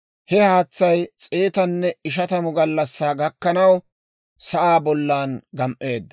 He haatsay s'eetanne ishatamu gallassaa gakkanaw sa'aa bollan gam"eedda.